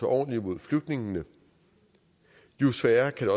ordentligt imod flygtningene jo sværere kan